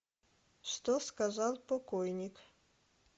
что сказал покойник